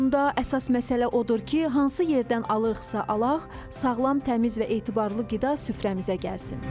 Sonda əsas məsələ odur ki, hansı yerdən alırıqsa alaq, sağlam, təmiz və etibarlı qida süfrəmizə gəlsin.